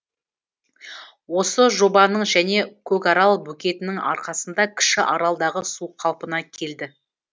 осы жобаның және көкарал бөгетінің арқасында кіші аралдағы су қалпына келді